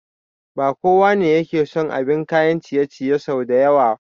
Ba kowa ne yake son abin kayan ciye ciye sau da yawa